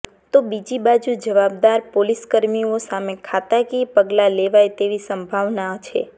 તો બીજીબાજુ જવાબદાર પોલીસકર્મીઓ સામે ખાતાકીય પગલા લેવાય તેવી સંભાવના છે